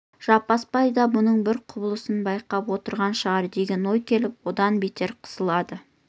жаппасбай да мұның бар құбылысын байқап отырған шығар деген ой келіп одан бетер қысылады